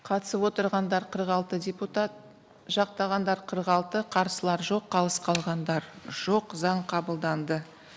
қатысып отырғандар қырық алты депутат жақтағандар қырық алты қарсылар жоқ қалыс қалғандар жоқ заң қабылданды